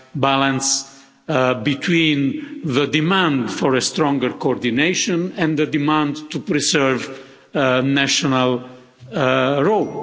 balance between the demand for stronger coordination and the demand to preserve a national role.